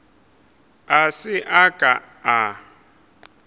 a se a ka a